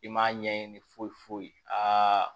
I m'a ɲɛɲini foyi foyi a